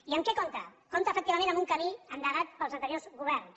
i amb què compta compta efectivament amb un camí endegat pels anteriors governs